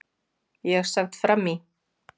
ÉG sat fram í.